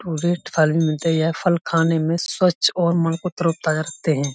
थाली में दिया फल खाने में स्वच्छ और मन को तरो-ताजा रखते है।